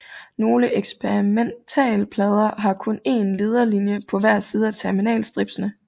Nogle eksperimentalplader har kun én lederlinjer på hver side af terminal stripsene